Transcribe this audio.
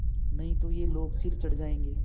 नहीं तो ये लोग सिर चढ़ जाऐंगे